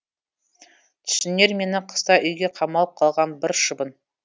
түсінер мені қыста үйге қамалып қалған бір шыбын